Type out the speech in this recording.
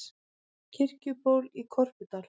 Kirkjuból í Korpudal.